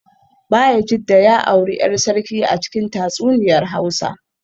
Bayajidda ya auri ‘yar sarki a cikin tatsuniyar Hausa